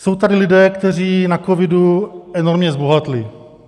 Jsou tady lidé, kteří na covidu enormně zbohatli.